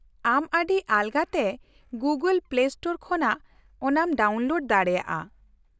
-ᱟᱢ ᱟᱹᱰᱤ ᱟᱞᱜᱟᱛᱮ ᱜᱩᱜᱚᱞ ᱯᱞᱮ ᱥᱴᱳᱨ ᱠᱷᱚᱱᱟᱜ ᱚᱱᱟᱢ ᱰᱟᱣᱩᱱᱞᱳᱰ ᱫᱟᱲᱮᱭᱟᱜᱼᱟ ᱾